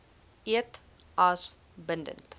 eed as bindend